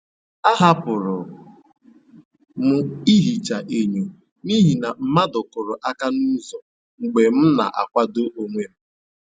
Ahapụrụ m ihicha enyo n’ihi na mmadụ kuru aka n'ụzọ mgbe m na-akwado onwe m.